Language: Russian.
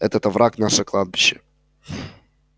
этот овраг наше кладбище